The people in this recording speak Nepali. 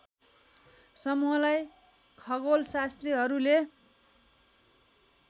समूहलाई खगोलशास्त्रीहरूले